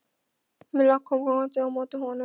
Milla kom gangandi á móti honum.